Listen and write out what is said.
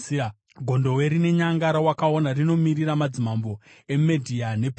Gondobwe rine nyanga rawakaona rinomirira madzimambo eMedhia nePezhia.